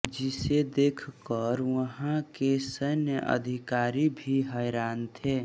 जिसे देखकर वहा के सैन्य अधिकारी भी हैरान थे